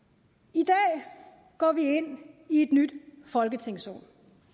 i dag går vi ind i et nyt folketingsår